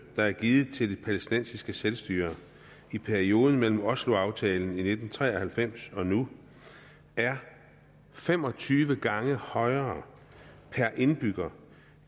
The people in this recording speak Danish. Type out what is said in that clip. der er givet til det palæstinensiske selvstyre i perioden mellem oslo aftalen i nitten tre og halvfems og nu er fem og tyve gange højere per indbygger